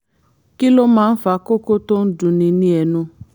kí ló máa ń fa kókó tó ń dunni ní ẹnu?